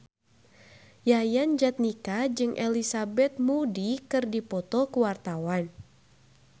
Yayan Jatnika jeung Elizabeth Moody keur dipoto ku wartawan